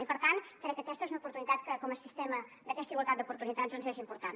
i per tant crec que aquesta és una oportunitat que com a sistema d’aquesta igualtat d’oportunitats és important